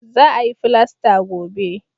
Za a yi filasta gobe